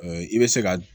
i bɛ se ka